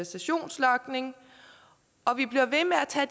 sessionslogning og vi bliver ved med at tage